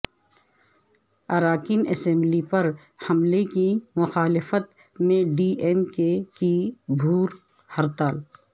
اراکین اسمبلی پر حملے کی مخالفت میں ڈی ایم کے کی بھوک ہڑتال